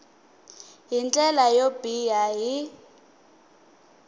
hi ndlela yo biha hi